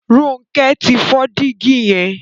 Ronke tí fọ Dígí yen.